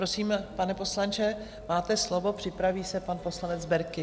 Prosím, pane poslanče, máte slovo, připraví se pan poslanec Berki.